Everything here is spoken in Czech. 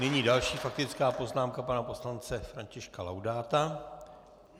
Nyní další faktická poznámka pana poslance Františka Laudáta.